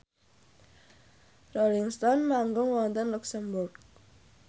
Rolling Stone manggung wonten luxemburg